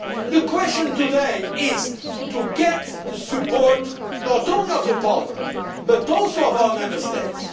The question today is to get the support, not only of the Parliament but also of our Member States.